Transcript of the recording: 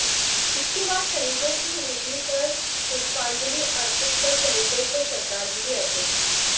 इसके बाद शहीदों की वेदी पर पुष्पाजंलि अर्पित कर शहीदों को श्रद्धांजलि अर्पित की